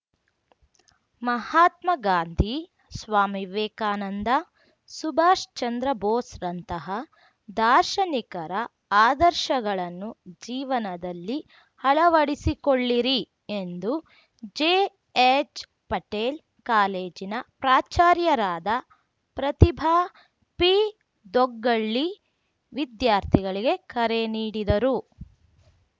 ಮಹಾತ್ಮ ಗಾಂಧಿ ಸ್ವಾಮಿ ವಿವೇಕಾನಂದ ಸುಭಾಷ್‌ಚಂದ್ರ ಬೋಸ್‌ರಂತಹ ದಾರ್ಶನಿಕರ ಆದರ್ಶಗಳನ್ನು ಜೀವನದಲ್ಲಿ ಅಳವಡಿಸಿಕೊಳ್ಳಿರಿ ಎಂದು ಜೆಎಚ್‌ಪಟೇಲ್‌ ಕಾಲೇಜಿನ ಪ್ರಾಚಾರ್ಯರಾದ ಪ್ರತಿಭಾ ಪಿದೊಗ್ಗಳ್ಳಿ ವಿದ್ಯಾರ್ಥಿಗಳಿಗೆ ಕರೆ ನೀಡಿದರು